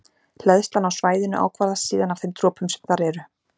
Hleðslan á svæðinu ákvarðast síðan af þeim dropum sem þar eru.